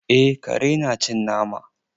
Eh kare na cin nama.